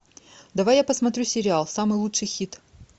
давай я посмотрю сериал самый лучший хит